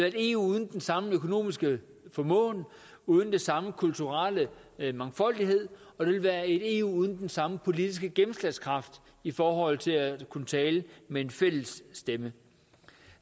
et eu uden den samme økonomiske formåen uden den samme kulturelle mangfoldighed og det vil være et eu uden den samme politiske gennemslagskraft i forhold til at kunne tale med en fælles stemme